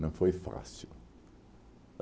Não foi fácil.